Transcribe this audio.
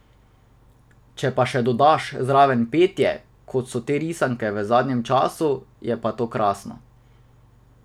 Če pa še dodaš zraven petje, kot so te risanke v zadnjem času, je pa to krasno.